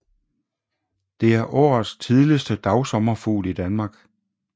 Det er årets tidligste dagsommerfugl i Danmark